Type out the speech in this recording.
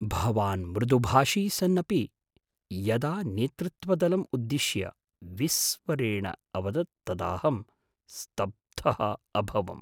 भवान् मृदुभाषी सन्नपि यदा नेतृत्वदलम् उद्दिश्य विस्वरेण अवदत् तदाहं स्तब्धः अभवम्।